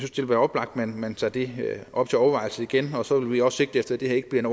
være oplagt at man tager det op til overvejelse igen og så vil vi også sigte efter at det her ikke bliver en